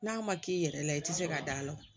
N'a ma k'i yɛrɛ la i tɛ se ka d'a la